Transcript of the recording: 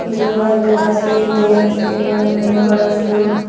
ಇದು ಒಂದು ರಸ್ತೆ ಇದೆ ಈ ರಸ್ತೆ ಮೇಲ್ಗಡೆ ಬಹಳಷ್ಟು--